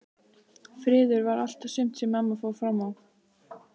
Friður var allt og sumt sem mamma fór fram á.